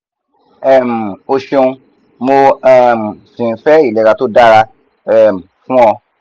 um o ṣeun mo um si n fe ilera to dara um fun o